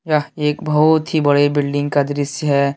यह एक बहुत ही बड़े बिल्डिंग का दृश्य है।